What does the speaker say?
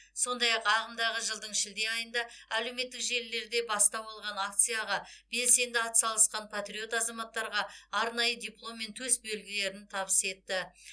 сондай ақ ағымдағы жылдың шілде айында әлеуметтік желілерде бастау алған акцияға белсенді атсалысқан патриот азаматтарға арнайы диплом мен төсбелгілерін табыс етті